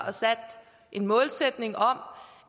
en målsætning om